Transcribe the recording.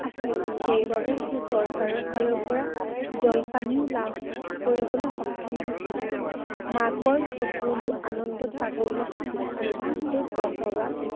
আছিল। সেইবাবে সি চৰকাৰৰ ফালৰ পৰা জলপানিও লাভ কৰিবলৈ সক্ষম হৈছিল। মাকৰ চকুলো আনন্দত বাগৰি আহিছিল। আৰু ভালকৈ পঢ় বাবা।